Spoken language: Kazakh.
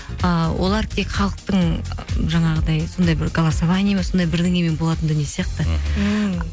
ыыы олар тек халықтың жаңағыдай сондай бір голосование ме сондай бірдеңемен болатын дүние сияқты мхм ммм